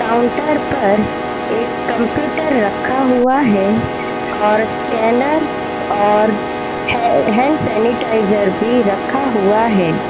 Counter पर एक computer रखा हुआ है और स्कैनर और है हैंड सेनीटाइजर भी रखा हुआ है।